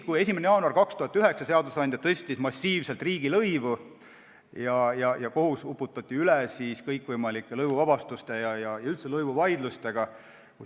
1. jaanuaril 2009 tõstis seadusandja massiivselt riigilõivu ja kohus uputati üle kõikvõimalike lõivuvabastuste asjadega ja üldse lõivuvaidlustega.